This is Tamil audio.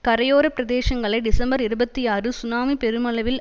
கரையோர பிரதேசங்களை டிசம்பர் இருபத்தி ஆறு சுனாமி பெருமளவில்